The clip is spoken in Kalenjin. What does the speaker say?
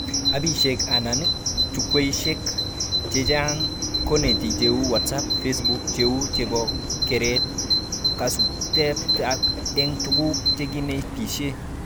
Appishek anan chukwaishek cheingen konetik cheu WhatsApp, Facebook, cheu chebo keret kasubetabke eng tuguk chekinetishee